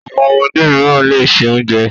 Àwọn ọmọdé mìíràn le se oúnjẹ.